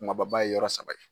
Kumaba ba ye yɔrɔ saba ye.